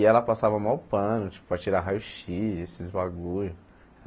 E ela passava maior pano, tipo, para tirar raio xis, esses bagulhos.